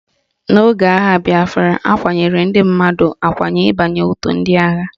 N'oge agha bịafra, akwanyere ndị mmadụ akwanye ịbanye otu ndị agha